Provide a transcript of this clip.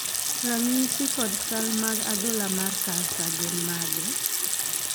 ranyisi kod chal mag adhola mar kansa gin mage?